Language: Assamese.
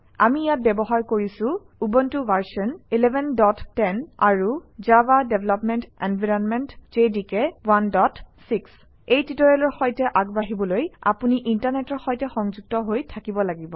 আমি ইয়াত ব্যৱহাৰ কৰিছোঁ উবুণ্টু ভাৰচন 1110 আৰু জাভা ডেভেলপমেণ্ট এনভাইৰনমেণ্ট জেডিকে 16 এই টিউটৰিয়েলৰ সৈতে আগবাঢ়িবলৈ আপুনি ইণ্টাৰনেটৰ সৈতে সংযুক্ত হৈ থাকিব লাগিব